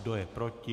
Kdo je proti?